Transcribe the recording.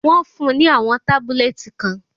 Wọ́n fún-un ní àwọn tábúlẹ́ẹ̀tì kan.